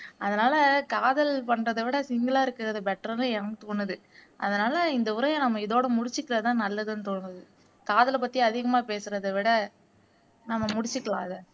அதனால காதல் பன்றத விட சிங்கிள் ஆ இருக்கிறது பெட்டர்னு எனக்கு தோன்ணுது அதனால இந்த உரையை நம்ம இதோட முடிச்சுக்குறதுதான நல்லதுன்னு தோணுது காதல பத்தி அதிகமா பேசுறத விட நம்ம முடிச்சுக்கலாம் இதை